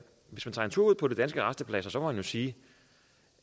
hvis man tager en tur ud på de danske rastepladser må man sige